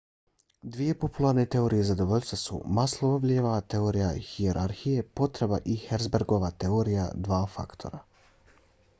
dvije popularne teorije zadovoljstva su maslowljeva teorija hijerarhije potreba i herzbergova teorija dva faktora